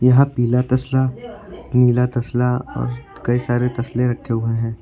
यहां पीला तसला नीला तसला और कई सारे तसले रखे हुए है।